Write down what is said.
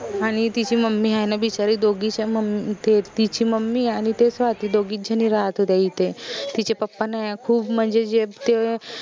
आनि तिची mummy आहे न बिचारी दोघीच्या तिची mummy आनि ते स्वाती दोघीच झनी राहात होत्या इथे तिचे papa नाई ए खूप म्हनजे जे ते